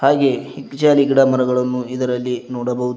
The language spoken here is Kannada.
ಹಾಗೆಯೇ ಇ ಜಾಲಿ ಗಿಡ ಮರಗಳನ್ನು ಇದರಲ್ಲಿ ನೋಡಬಹುದು.